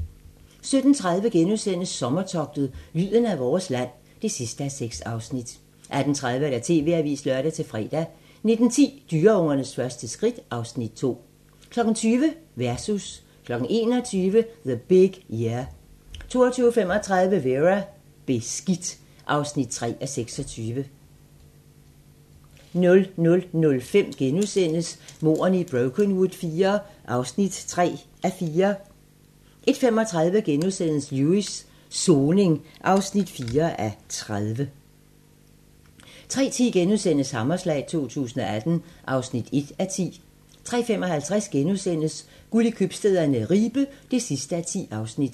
17:30: Sommertogtet – lyden af vores land (6:6)* 18:30: TV-avisen (lør-fre) 19:10: Dyreungernes første skridt (Afs. 2) 20:00: Versus 21:00: The Big Year 22:35: Vera: Beskidt (3:26) 00:05: Mordene i Brokenwood IV (3:4)* 01:35: Lewis: Soning (4:30)* 03:10: Hammerslag 2018 (1:10)* 03:55: Guld i købstæderne - Ribe (10:10)*